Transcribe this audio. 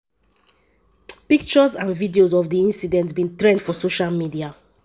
pictures and videos of di incident bin trend for social media.